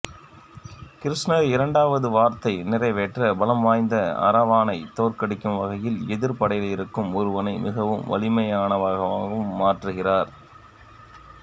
கிருஷ்ணர் இரண்டாவது வரத்தை நிறைவேற்ற பலம் வாய்ந்த அரவானைத் தோற்கடிக்கும் வகையில் எதிரிப் படையிலிருக்கும் ஒருவனை மிகவும் வலிமையானவனாக மாற்றுகிறார்